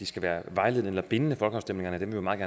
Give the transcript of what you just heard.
skal være vejledende eller bindende folkeafstemninger vil vi meget